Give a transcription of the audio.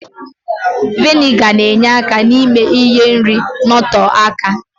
Viniga na-enye aka ime ka ihe nri nọtọọ aka